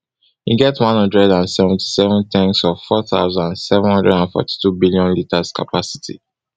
e get one hundred and seventy-seven tanks of four thousand, seven hundred and forty-two billion litres capacity